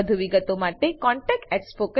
વધુ વિગતો માટે કૃપા કરી contactspoken tutorialorg પર લખો